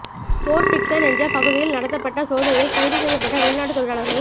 board Dickson என்ற பகுதியில் நடத்தப்பட்ட சோதனையில் கைது செய்யப்பட்ட வெளிநாட்டுத் தொழிலாளர்கள்